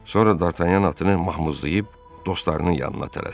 Sonra D'Artanyan atını mahmızlayıb dostlarının yanına tələsdi.